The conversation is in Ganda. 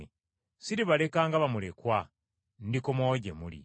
Siribaleka nga bamulekwa, ndikomawo gye muli.